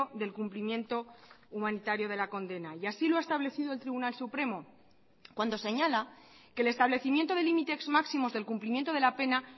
del cumplimiento humanitario de la condena y así lo ha establecido el tribunal supremo cuando señala que el establecimiento de límites máximos del cumplimiento de la pena